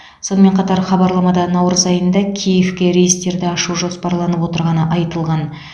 сонымен қатар хабарламада наурыз айында киевке рейстерді ашу жоспарланып отырғаны айтылған